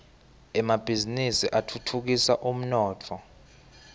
emabhiznnisi atfutfukisa umnotfo